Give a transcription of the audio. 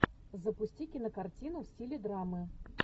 запусти кинокартину в стиле драмы